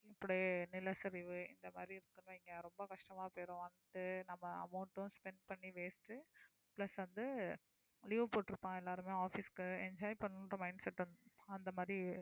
இப்படியே நிலச்சரிவு இந்த மாதிரி இருக்குன்னு வைங்க ரொம்ப கஷ்டமா போயிரும் வந்து நம்ம amount உம் spend பண்ணி waste உ plus வந்து leave போட்டிருப்பாங்க எல்லாருமே office க்கு enjoy பண்ணணும்ன்ற mindset அந்த மாதிரி